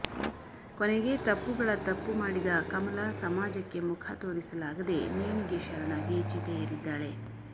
ಕೊನೆಗೆ ತಪ್ಪುಗಳ ತಪ್ಪು ಮಾಡಿದ ಕಮಲ ಸಮಾಜಕ್ಕೆ ಮುಖ ತೋರಿಸಲಾಗದೇ ನೇಣಿಗೆ ಶರಣಾಗಿ ಚಿತೆ ಏರಿದ್ದಾಳೆ